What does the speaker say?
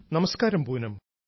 നമസ്ക്കാരം പൂനം